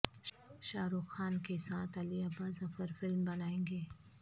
شاہ رخ خان کے ساتھ علی عباس ظفر فلم بنائیں گے